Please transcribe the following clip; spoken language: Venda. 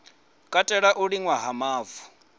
katela u liṅwa ha mavu